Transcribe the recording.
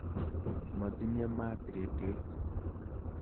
Matinye maat redioit.